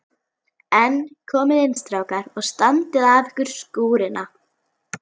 En komiði inn strákar og standið af ykkur skúrina.